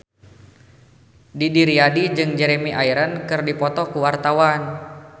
Didi Riyadi jeung Jeremy Irons keur dipoto ku wartawan